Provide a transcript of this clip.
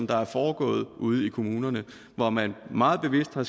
der er foregået ude i kommunerne hvor man meget bevidst har